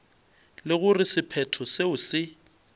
le gore sephetho seo se